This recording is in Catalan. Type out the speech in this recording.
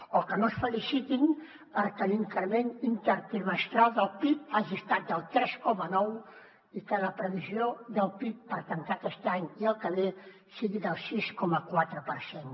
o que no es felicitin perquè l’increment intertrimestral del pib hagi estat del tres coma nou i que la previsió del pib per tancar aquest any i el que ve sigui del sis coma quatre per cent